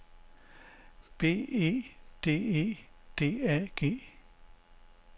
B E D E D A G